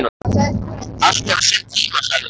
Allt hefur sinn tíma, sagði hún.